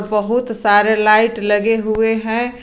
बहुत सारे लाइट लगे हुए हैं।